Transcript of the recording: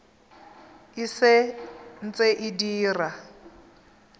e sa ntse e dira